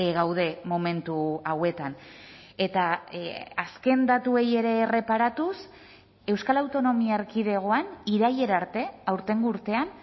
gaude momentu hauetan eta azken datuei ere erreparatuz euskal autonomia erkidegoan irailera arte aurtengo urtean